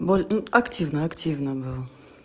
боль и активный активный был